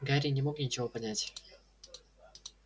гарри не мог ничего понять